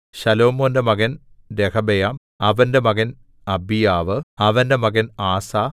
ശലോമോന്റെ മകൻ രെഹബെയാം അവന്റെ മകൻ അബീയാവ് അവന്റെ മകൻ ആസാ